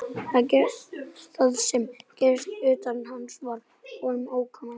Það sem gerðist utan hans var honum óviðkomandi.